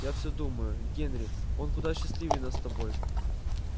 я все думаю генри он куда счастливее нас с тобой